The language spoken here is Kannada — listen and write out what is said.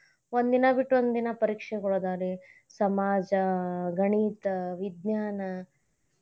ಒಂದಿನಾ ಬಿಟ್ಟ್ ಒಂದಿನಾ ಪರೀಕ್ಷೆಗೊಳ ಅದಾವರಿ ಸಮಾಜ, ಗಣಿತ, ವಿಜ್ಞಾನ.